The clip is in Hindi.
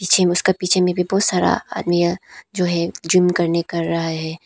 पीछे में उसके पीछे में बहुत सारा आदमीया जो है जूम करने कर रहा है।